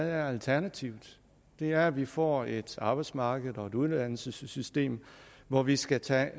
alternativet det er at vi får et arbejdsmarked og et uddannelsessystem hvor vi skal tage